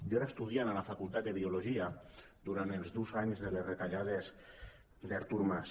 jo era estudiant a la facultat de biologia durant els durs anys de les retallades d’artur mas